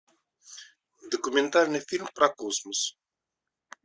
документальный фильм про космос